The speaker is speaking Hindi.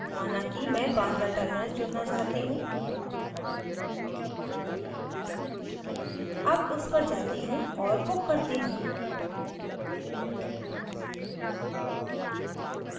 माना कि मैं bandra terminus चुनना चाहती choose अब उस पर जाती choose और book करती choose